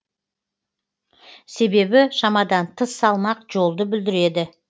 себебі шамадан тыс салмақ жолды бүлдіреді